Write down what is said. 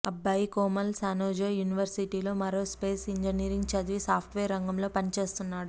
అబ్బాయి Komal San Jose university లో aerospace engineering చదివి సాఫ్ట్ వేర్ రంగంలో పనిచేస్తున్నాడు